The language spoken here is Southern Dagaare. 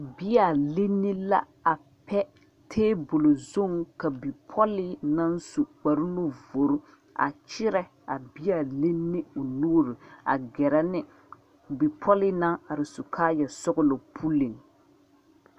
Bea linni la a pɛ tabol zuŋ ka bipɔlee naŋ su kparenuvori a kyerɛ a bea linni o nuuri a gɛrɛ ne bipɔlee naŋ are su kaayasɔglɔ puliŋ.